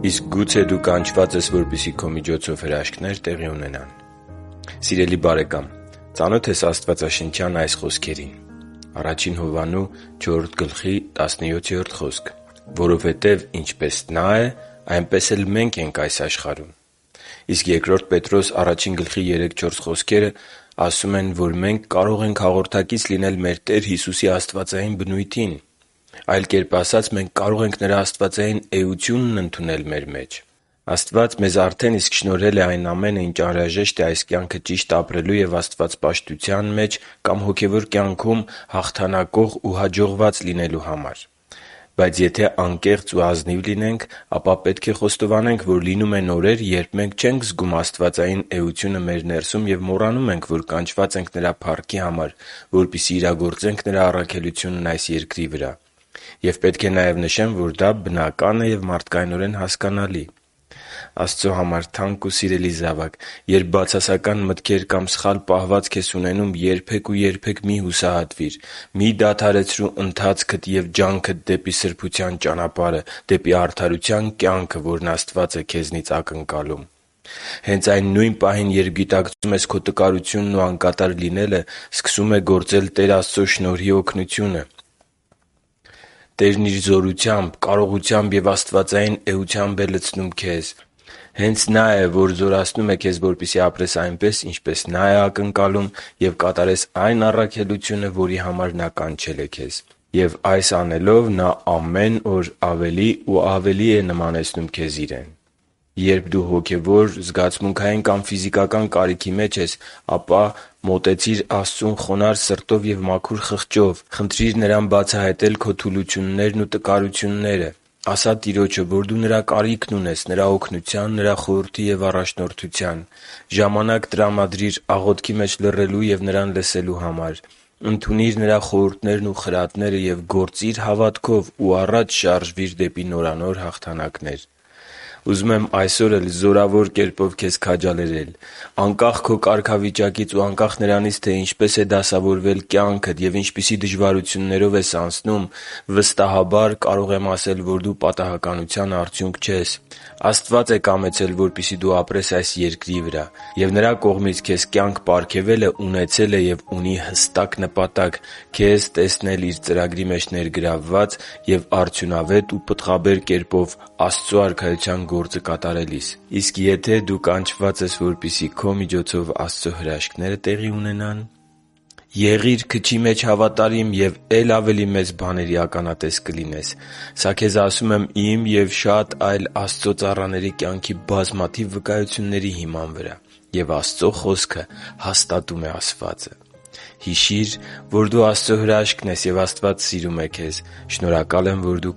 Իսկ գուցե դու կանչված ես, որպեսզի քո միջոցով հրաշքնե՞ր տեղի ունենան․․․ Սիրելի՛ բարեկամ, ծանո՞թ ես աստվածաշնչյան այս խոսքերին․ «…որովհետև ինչպես Նա է, այնպես էլ մենք ենք այս աշխարհում» (Ա Հովհաննես 4․17)։ Իսկ Բ Պետրոս 1․3-4 հատվածում, խոսվում է, որ մենք կարող ենք հաղորդակից լինել մեր Տեր Հիսուսի աստվածային բնությանը։ Այլ կերպ ասած, մենք կարող ենք Նրա աստվածային էությունն ընդունել մեր մեջ։ Աստված մեզ արդեն իսկ շնորհել է այն ամենն, ինչն անհրաժեշտ է այս կյանքը ճիշտ ապրելու և աստվածպաշտության մեջ կամ հոգևոր կյանքում հաղթանակող ու հաջողված լինելու համար։ Բայց եթե անկեղծ ու ազնիվ լինենք, ապա պետք է խոստովանենք, որ լինում են օրեր, երբ մենք չենք զգում «աստվածային էությունը» մեր ներսում և մոռանում ենք, որ կանչված ենք Նրա փառքի համար, որպեսզի իրագործենք Նրա առաքելությունն այս երկրի վրա։ Եվ պետք է նաև նշեմ, որ դա բնական է և մարդկայնորեն հասկանալի։ Աստծո համար թանկ ու սիրելի՛ զավակ, երբ բացասական մտքեր կամ սխալ պահվածք ես ունենում, երբե՛ք ու երբե՛ք մի՛ հուսահատվիր։ Մի՛ դադարեցրու ընթացքդ և ջանքդ դեպի սրբության ճանապարհը, դեպի արդարության կյանքը, որն Աստված է քեզնից ակնկալում։ Հենց այն նույն պահին, երբ գիտակցում ես քո տկարությունն ու անկատար լինելը, սկսում է գործել Տեր Աստծո շնորհի օգնությունը։ Տերն Իր զորությամբ, կարողությամբ և աստվածային էությամբ է լցնում քեզ։ Հենց Նա է, որ զորացնում է քեզ, որպեսզի ապրես այնպես, ինչպես Նա է ակնկալում, և կատարես այն առաքելությունը, որի համար Նա կանչել է քեզ։ Եվ, այս անելով, Նա ամեն օր ավելի ու ավելի է նմանեցնում քեզ Իրեն։ Երբ դու հոգևոր, զգացմունքային կամ ֆիզիկական կարիքի մեջ ես, ապա - Մոտեցի՛ր Աստծուն խոնարհ սրտով և մաքուր խղճով, - Խնդրի՛ր Նրան բացահայտել քո թուլություններն ու տկարությունները, - Ասա Տիրոջը, որ դու Նրա կարիքն ունես՝ Նրա օգնության, Նրա խորհրդի և առաջնորդության, - Ժամանակ տրամադրի՛ր աղոթքի մեջ լռելու և Նրան լսելու համար, - Ընդունի՛ր Նրա խորհուրդներն ու խրատները և գործի՛ր հավատքով ու առաջ շարժվի՛ր դեպի նորանոր հաղթանակներ։ Ուզում եմ այսօր էլ զորավոր կերպով քաջալերել քեզ։ Անկախ քո կարգավիճակից և անկախ նրանից, թե ինչպես է դասավորվել կյանքդ և ինչպիսի իրավիճակներով ես անցնում, վստահաբար կարող եմ ասել, որ դու պատահականության արդյունք չես։ Աստված է կամեցել, որպեսզի դու ապրես այս երկրի վրա։ Եվ Նրա կողմից քեզ կյանք պարգևելը ունեցել է և ունի հստակ նպատակ՝ քեզ տեսնել Իր ծրագրի մեջ ներգրավված և արդյունավետ ու պտղաբեր կերպով Աստծո Արքայության գործը կատարելիս։ Իսկ եթե դու կանչված ես, որպեսզի քո միջոցով Աստծո հրաշքնե՞րը տեղի ունենան․․․ Եղի՛ր քչի մեջ հավատարիմ և է՛լ ավելի մեծ բաների ականատես կլինես։ Սա քեզ ասում եմ իմ և շատ այլ Աստծո ծառաների կյանքի բազմաթիվ վկայությունների հիման վրա։ Եվ Աստծո Խոսքը հաստատում է ասվածը։ Հիշի՛ր, որ դու Աստծո հրաշքն ես, և Աստված սիրում է քեզ։ Շնորհակալ եմ, որ դու